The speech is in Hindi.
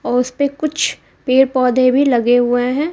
औ उसेपे कुछ पेड़ पौधे भी लगे हुए हैं।